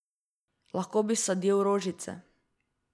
Lahko bi sadil rožiče.